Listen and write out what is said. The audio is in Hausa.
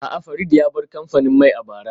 A'a, Farid ya bar kamfanin mai a bara